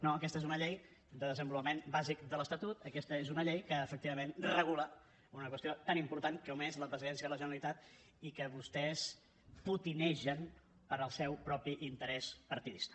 no aquesta és una llei de desenvolupament bàsic de l’estatut aquesta és una llei que efectivament regula una qüestió tan important com és la presidència de la generalitat i que vostès potinegen per al seu propi interès partidista